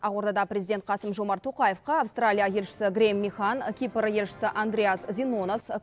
ақордада президент қасым жомарт тоқаевқа аустралия елшісі грейм михан кипр елшісі андреас зинонос